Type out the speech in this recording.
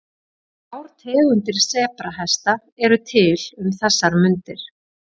Þrjár tegundir sebrahesta eru til um þessar mundir.